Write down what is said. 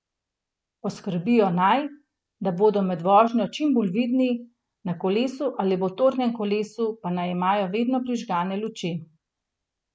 Poskrbijo naj, da bodo med vožnjo čim bolj vidni, na kolesu ali motornem kolesu pa naj imajo vedno prižgane luči.